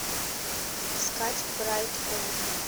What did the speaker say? искать брайт фоллс